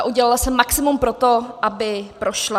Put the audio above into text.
A udělala jsem maximum pro to, aby prošla.